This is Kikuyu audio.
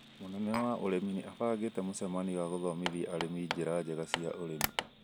Mũnene wa ũrĩmi ni abangĩte mũcemanio wa gũthomithia arĩmi njĩra njea cia ũrĩmi.